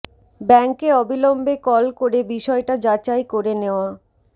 ব্যাংকে অবিলম্বে কল করে বিষয়টা যাচাই করে নেওয়া